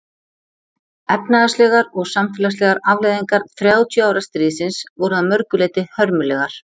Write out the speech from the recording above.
Efnahagslegar og samfélagslegar afleiðingar þrjátíu ára stríðsins voru að mörgu leyti hörmulegar.